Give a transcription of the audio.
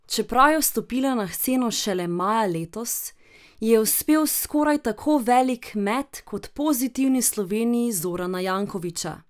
Čeprav je vstopila na sceno šele maja letos, ji je uspel skoraj tako velik met kot Pozitivni Sloveniji Zorana Jankovića.